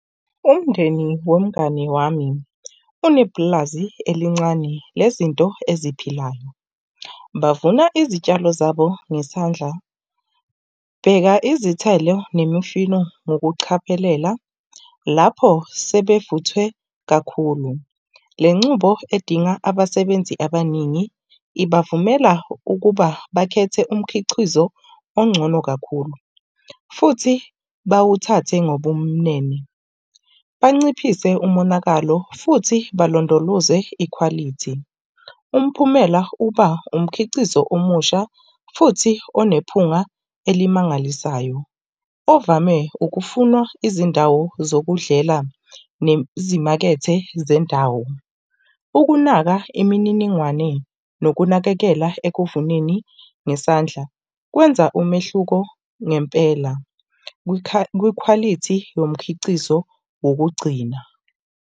Umndeni nomngani wami unepulazi elincane lezinto eziphilayo. Bavuna izitshalo zabo ngesandla. Bheka izithelo nemifino ngokuchaphelela, lapho sebevuthwe kakhulu. Le nqubo edinga abasebenzi abaningi ibavumela ukuba bakhethe umkhiqizo ongcono kakhulu. Futhi bawuthathe ngobumnene banciphise umonakalo futhi balondoloze ikhwalithi. Umphumela uba umkhicizo omusha futhi onephunga elimangalisayo, ovame ukufunwa izindawo zokudlela nezimakethe zendawo. Ukunaka imininingwane nokunakekela ekuvuneni ngesandla kwenza umehluko ngempela, kwikhwalithi yomkhicizo wokugcina.